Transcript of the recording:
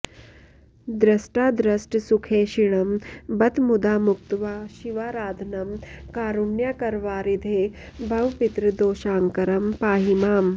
दृष्टादृष्टसुखैषिणं बत मुदा मुक्त्वा शिवाराधनं कारुण्याकरवारिधे भव पितर्दोषाकरं पाहि माम्